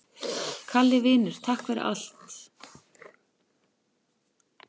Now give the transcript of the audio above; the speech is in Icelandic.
Kalli vinur, takk fyrir allt.